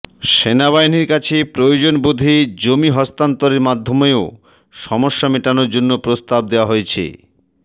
সেনাবাহিনীর কাছে প্রয়োজনবোধে জমি হস্তান্তরের মাধ্যমেও সমস্যা মেটানোর জন্য প্রস্তাব দেওয়া হয়েছে